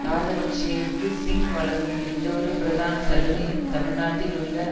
இராஜபக்ஷவிற்கு சிங் வழங்கும் எந்தவொரு பிரதான சலுகையும் தமிழ் நாட்டில் உள்ள